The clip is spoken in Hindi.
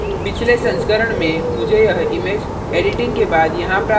पिछले संस्करण में मुझे यह image editing के बाद यहाँ प्राप्त हुई है